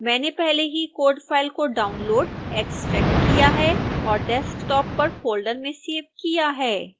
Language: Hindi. मैंने पहले ही code file को डाउनलोड़ एक्स्ट्रैक्ट किया है और desktop पर फोल्डर मे सेव किया है